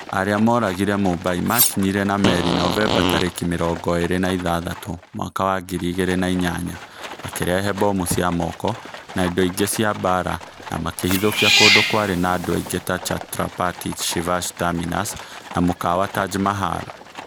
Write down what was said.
Arĩa moragire Mumbai maakinyire na meri Novemba tarĩki mĩrongo ĩĩrĩ na ithathatũ mwaka wa ngiri igĩrĩ na inyanya, makĩrehe mbomu cia moko, na indo ingĩ cia mbaara, na makĩhithũkia kũndũ kwarĩ na andũ aingĩ ta Chhatrapati Shivaji Terminus na mũkawa Taj Mahal.